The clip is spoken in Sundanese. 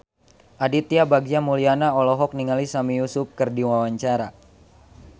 Aditya Bagja Mulyana olohok ningali Sami Yusuf keur diwawancara